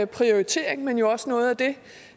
prioritering men jo også noget